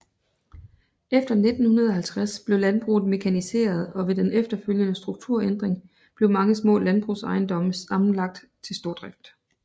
Efter 1950 blev landbruget mekaniseret og ved den efterfølgende strukturændring blev mange små landbrugsejendomme sammenlagt til stordrift